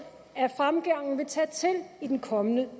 at fremgangen vil tage til i den kommende